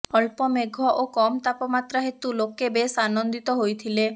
ଅଳ୍ପ ମେଘ ଓ କମ୍ ତାପମାତ୍ରା ହେତୁ ଲୋକେ ବେଶ୍ ଆନନ୍ଦିତ ହୋଇଥିଲେ